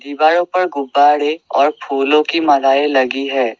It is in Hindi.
दीवारो पर गुंबरे और फूलों की मालाएं लगी है।